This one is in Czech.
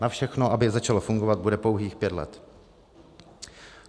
Na všechno, aby začalo fungovat, bude pouhých pět let.